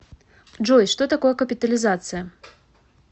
джой что такое капитализация